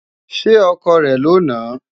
Ṣé ọkọ rẹ̀ ló nàá?